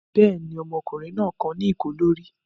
Bẹ́ẹ̀ ni, ọmọkùnrin náà kan ní ìkó lórí.